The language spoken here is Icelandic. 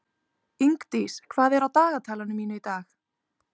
Ingdís, hvað er á dagatalinu mínu í dag?